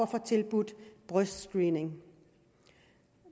får tilbudt brystscreening